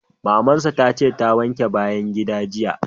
Maman sa ta ce ta wanke bayan gidan jiya.